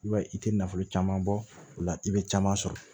I b'a ye i tɛ nafolo caman bɔ o la i bɛ caman sɔrɔ